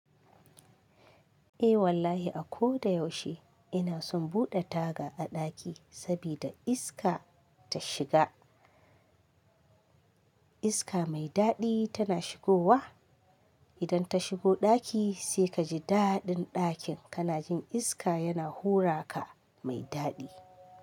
Eh wallahi a ko da yaushe ina son buɗe taga a ɗaki sabida iska ta shiga. Iska mai daɗi tana shigowa. Idan ta shigo ɗaki sai ka ji daɗin ɗakin, kana jin iska yana hura ka mai daɗi.